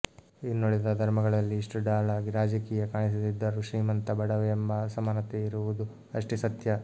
ಇನ್ನುಳಿದ ಧರ್ಮಗಳಲ್ಲಿ ಇಷ್ಟು ಢಾಳಾಗಿ ರಾಜಕೀಯ ಕಾಣಿಸದಿದ್ದರೂ ಶ್ರೀಮಂತ ಬಡವ ಎಂಬ ಅಸಮಾನತೆ ಇರುವುದು ಅಷ್ಟೇ ಸತ್ಯ